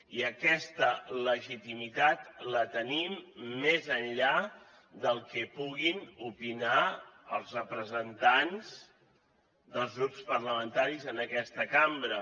i aquesta legitimitat la tenim més enllà del que puguin opinar els representants dels grups parlamentaris en aquesta cambra